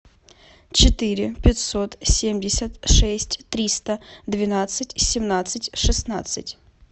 четыре пятьсот семьдесят шесть триста двенадцать семнадцать шестнадцать